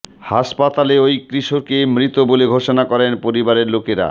হাসপাতালে ওই কিশোরকে মৃত বলে ঘোষণা করেন পরিবারের লোকেরা